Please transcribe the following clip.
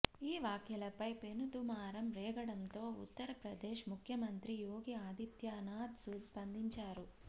ఈ వ్యాఖ్యలపై పెనుదుమారం రేగడంతో ఉత్తర్ప్రదేశ్ ముఖ్యమంత్రి యోగి ఆదిత్యనాథ్ స్పందించారు